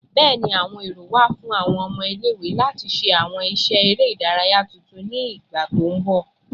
Bẹẹni, awọn ero wa fun awọn ọmọ ile-iwe lati ṣe awọn iṣẹ ere idaraya tuntun ni igba to nbọ